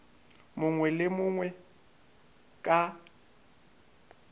mongwe le yo mongwe ka